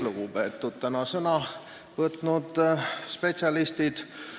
Lugupeetud täna sõna võtnud spetsialistid!